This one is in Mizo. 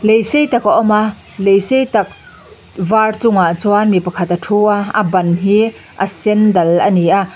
lei sei tak a awm a lei sei tak var chungah chuan mi pakhat a thu a a ban hi a sen dal a ni a.